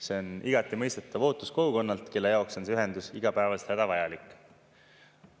See on igati mõistetav ootus kogukonnalt, kelle jaoks on see ühendus igapäevaselt hädavajalik.